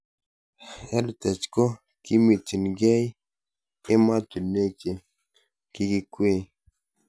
EdTech ko kimitchinikei ematinwek che kikikwei